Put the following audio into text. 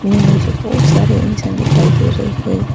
मे मुझे बहोत सारे इंसान दिखाई दे रहे हैं।